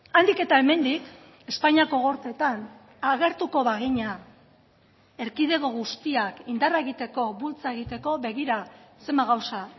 handik eta hemendik espainiako gorteetan agertuko bagina erkidego guztiak indarra egiteko bultza egiteko begira zenbat gauza